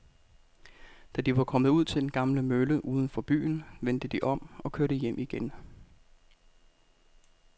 Da de var kommet ud til den gamle mølle uden for byen, vendte de om og kørte hjem igen.